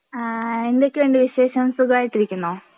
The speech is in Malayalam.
ആ എന്തൊക്കെയുണ്ട് വിശേഷം സുഖമായിട്ടിരിക്കുന്നോ?